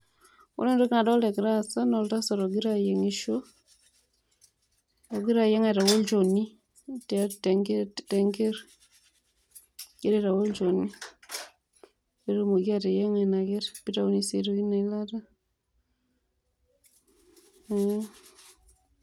Ore entoki nadolita egira aasa naa oltasat ogira ayieng'isho ogira ayieng' aitayu olchoni tenkerr egira aitayu olchoni pee etumoki ateyiang'a ina kerr aitayu eilata, ee.